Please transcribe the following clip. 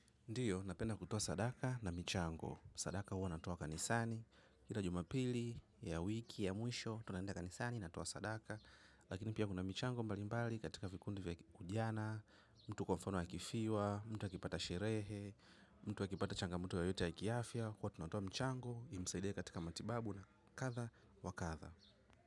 Ndiyo, napenda kutoa sadaka na michango. Sadaka huwa natoa kanisani. Kila jumapili, ya wiki, ya mwisho, tunaenda kanisani, natoa sadaka. Lakini pia kuna michango mbalimbali katika vikundi vya ujana, mtu kwa mfano akifiwa, mtu akipata sherehe, mtu akipata changamoto yoyote ya kiafya, huwa tunatoa mchango, imsaidie katika matibabu na kadha wa kadha.